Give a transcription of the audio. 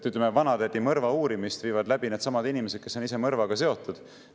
Ütleme, vanatädi mõrva uurimist viivad läbi needsamad inimesed, kes on ise mõrvaga seotud.